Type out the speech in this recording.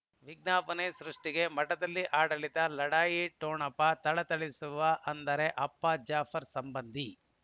ವಿಜ್ಞಾಪನೆ ಸೃಷ್ಟಿಗೆ ಮಠದಲ್ಲಿ ಆಡಳಿತ ಲಢಾಯಿ ಠೊಣಪ ಥಳಥಳಿಸುವ ಅಂದರೆ ಅಪ್ಪ ಜಾಫರ್ ಸಂಬಂಧಿ